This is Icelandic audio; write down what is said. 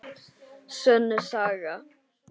Sönn saga.